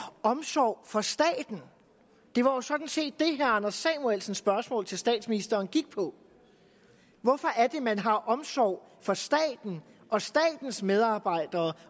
omsorg for staten det var sådan set det anders samuelsens spørgsmål til statsministeren gik på hvorfor er det man har omsorg for staten og statens medarbejdere